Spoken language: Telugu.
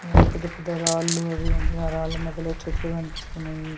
పెద్ద పెద్ద రాళ్లు అవి ఆ రాళ్ల మధ్యలో చెట్లు కనిపిస్తున్నాయి.